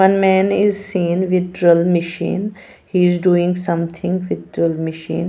One man is seen withdrawal machine he is doing something withdrawal machine.